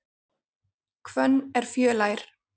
Hvönn er fjölær.